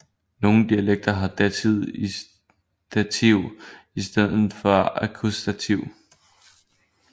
Nogen dialekter har dativ i stedet for akkusativ